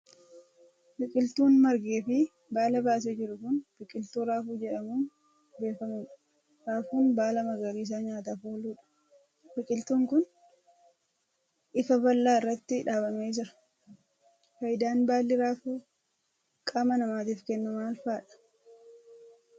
Biqiltuun margee fi baala baasee jiru kun, biqiltuu raafuu jedhamuun beekamuu dha. Raafuun ,baala magariisa nyaataaf oolu dha. Biqiltuun kun, lfa bal'aa irratti dhaabbamee jira. Faayidaan baalli raafuu qaama namaatif kennu maal faa dha?